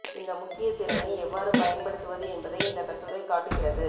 இந்த முக்கிய திறனை எவ்வாறு பயன்படுத்துவது என்பதை இந்த கட்டுரை காட்டுகிறது